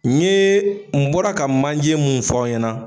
N ɲe n bɔra ka manje mun fɔ aw ɲɛna